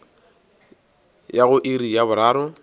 ya go iri ya boraro